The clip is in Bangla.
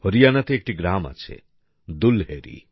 হরিয়ানাতে একটি গ্রাম আছে দুলহেরী